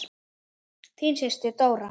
Þín systir, Dóra.